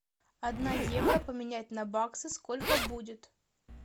одна евро поменять на баксы сколько будет